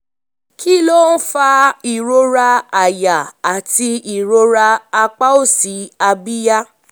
kí um ló ń fa ìrora àyà àti um ìrora apá òsì um abíyá?